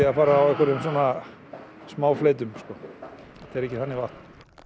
að fara á einhverjum svona smáfleytum þetta er ekki þannig vatn